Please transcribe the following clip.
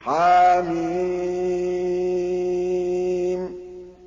حم